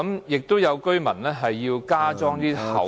亦有居民要加裝厚的......